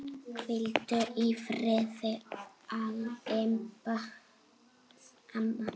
Hvíldu í friði, Imba amma.